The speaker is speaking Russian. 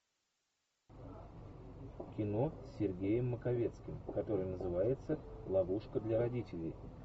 кино с сергеем маковецким которое называется ловушка для родителей